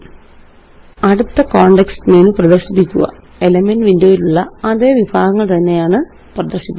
അടുത്തcontext menu പ്രദര്ശിപ്പിക്കുക elements windowയിലുള്ള അതേ വിഭാഗങ്ങള് തന്നെയാണ് പ്രദര്ശിപ്പിക്കുക